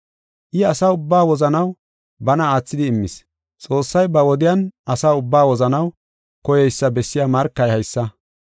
I asa ubbaa wozanaw bana aathidi immis. Xoossay ba wodiyan asa ubbaa wozanaw koyeysa bessiya markay haysa.